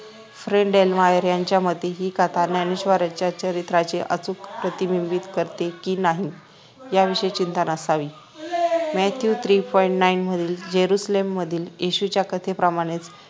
रेईन डेल्नायर यांच्या मते हि कथा ज्ञानेश्वराच्या चरित्राचे अचूक प्रतिबिंबित करते कि नाही याविषयी चिंता नसावी mathew three point nine मधील जेरुसलेममधील येशूच्या कथेप्रमाणे